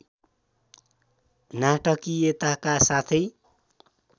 नाटकीयताका साथै